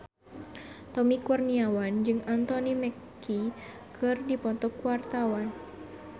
Tommy Kurniawan jeung Anthony Mackie keur dipoto ku wartawan